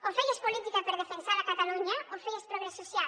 o feies política per defensar catalunya o feies progrés social